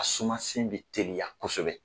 A suma sen bɛ teliya kosɛbɛ.